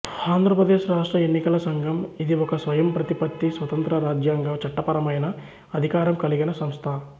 ఆంధ్రప్రదేశ్ రాష్ట్ర ఎన్నికల సంఘం ఇది ఒక స్వయం ప్రతిపత్తి స్వతంత్ర రాజ్యాంగ చట్టపరమైన అధికారం కలిగిన సంస్థ